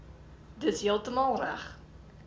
dis heeltemal reg